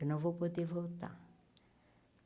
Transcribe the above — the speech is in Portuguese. Eu não vou poder voltar.